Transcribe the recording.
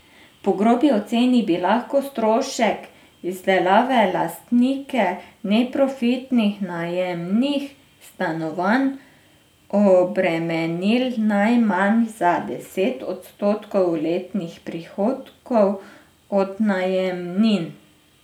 Po grobi oceni bi lahko strošek izdelave lastnike neprofitnih najemnih stanovanj obremenil najmanj za deset odstotkov letnih prihodkov od najemnin.